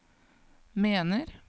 mener